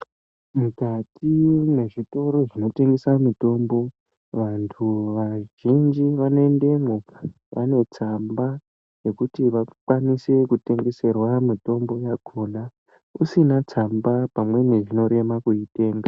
Mukati mezvitoro zvinotengese mitombo, vantu vazhinji vanoendemwo vane tsamba yekuti vakwanise kutengeserwa mitombo yakhona. Usina tsamba pamweni zvinorema kuitenga.